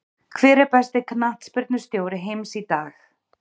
Hver er besti knattspyrnustjóri heims í dag?